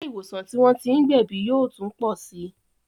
Ilé ìwòsàn tí wọ́n tí ń gbẹ̀bí yóò tún pọ sí